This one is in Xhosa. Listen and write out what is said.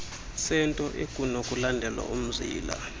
sento ekunokulandelwa umzila